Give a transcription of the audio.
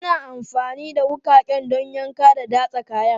Ana amfani da wuƙaƙen don yanka da datsa kayan.